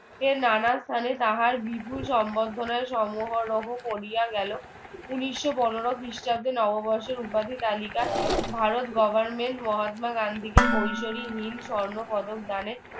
কে নানান স্থানে তাহার বিপুল সংবর্ধনা সমুহরহ করিয়া গেল ঊনিশো পনেরো খ্রিস্টাব্দে নবর্ষের উপাধি তালিকায় ভারত government মহাত্মা গান্ধীকে স্বর্ণপদক দানে